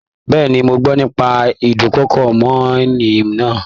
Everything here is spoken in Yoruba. Bẹ́ẹ̀ni, mọ gbọ́ nípa ídùnkokò mọ́'ni náà